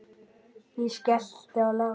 Ég skellti í lás.